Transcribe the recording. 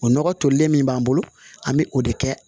O nɔgɔ tolilen min b'an bolo an bɛ o de kɛ